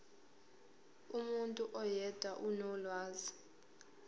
umuntu oyedwa onolwazi